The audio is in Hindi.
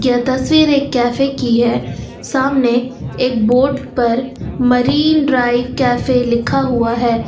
यह तस्वीर एक कैफे की है सामने एक बोर्ड पर मरीन ड्राइव कैफे लिखा हुआ है।